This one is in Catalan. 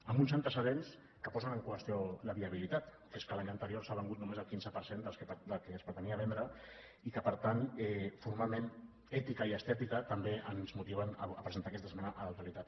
amb uns antecedents que posen en qüestió la viabilitat que és que l’any anterior s’ha venut només el quinze per cent del que es pretenia vendre i que per tant formalment ètica i estètica també ens motiven a presentar aquesta esmena a la totalitat